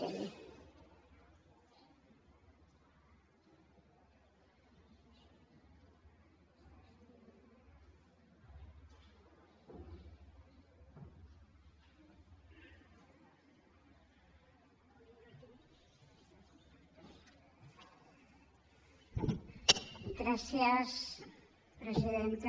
gràcies presidenta